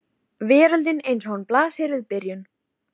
Veröldin eins og hún blasir við í byrjun.